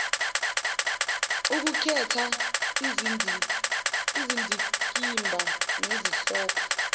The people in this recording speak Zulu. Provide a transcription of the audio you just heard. ukukhetha izindikimba nezihloko